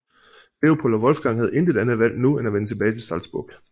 Leopold og Wolfgang havde intet andet valg nu end at vende tilbage til Salzburg